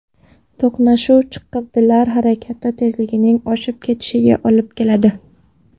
To‘qnashuv chiqindilar harakati tezligining oshib ketishiga olib keladi.